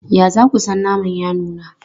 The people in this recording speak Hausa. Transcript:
Ya za ku san naman ya nuna?